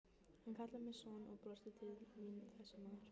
Hann kallar mig son og brosir til mín þessi maður.